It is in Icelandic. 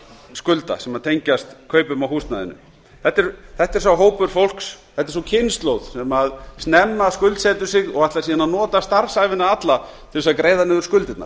skulda sem tengjast kaupum á húsnæðinu þetta er sá hópur fólks sú kynslóð sem snemma skuldsetur sig og ætlar síðan að nota starfsævina alla til að greiða niður skuldirnar